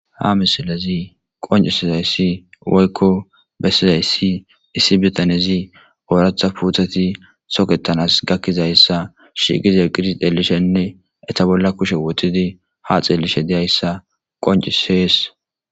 ha misilezi qoncisizayssi waykko bessizayssi issi bitanezi ooratha puutati soketanas gakkizayssa shiiqize qirsi xeelishenne eta bolla kushe woxidi ha xeelishe deyayssa qoncisees